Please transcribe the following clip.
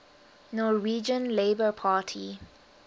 norwegian labour party